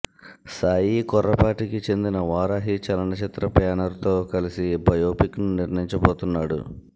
సాయి కొర్రపాటికి చెందిన వారాహి చలనచిత్ర బ్యానర్ తో కలిసి బయోపిక్ ను నిర్మించబోతున్నాడు